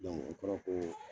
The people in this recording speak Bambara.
Dɔnku o kɔrɔ ye ko